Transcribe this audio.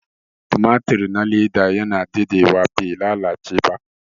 tumatur na leda yana dade wa bai lalace ba